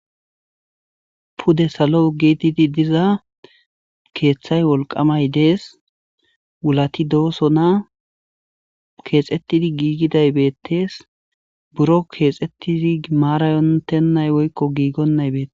pude salo giididi diza keeththay wolqamay dees wulati dooso na keexettidi giigiday beettees buro keexettizi maarayontennay woykko giigonnay beete